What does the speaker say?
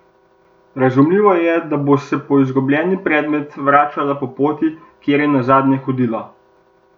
Razumljivo je, da bo se po izgubljeni predmet vračala po poti, kjer je nazadnje hodila.